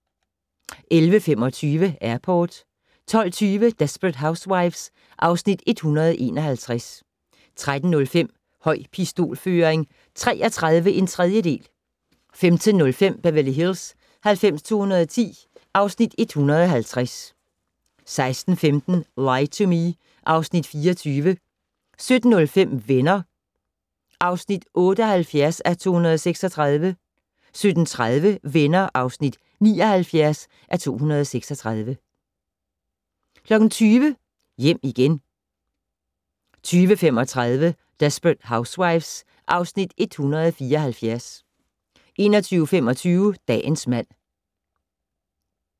11:25: Airport 12:20: Desperate Housewives (Afs. 151) 13:05: Høj pistolføring 33 1/3 15:05: Beverly Hills 90210 (Afs. 150) 16:15: Lie to Me (Afs. 24) 17:05: Venner (78:236) 17:30: Venner (79:236) 20:00: Hjem igen 20:35: Desperate Housewives (Afs. 174) 21:25: Dagens mand